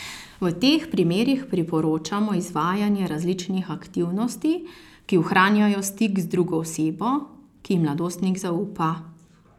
V teh primerih priporočamo izvajanje različnih aktivnosti, ki ohranjajo stik z drugo osebo, ki ji mladostnik zaupa.